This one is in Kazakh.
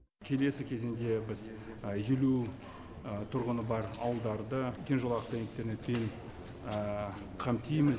келесі кезеңде біз елу тұрғыны бар ауылдарды кеңжолақты интернетпен қамтимыз